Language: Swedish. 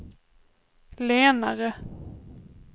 lenare